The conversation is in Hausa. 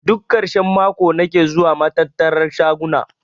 Duk karshen mako nake zuwa matattara na shaguna.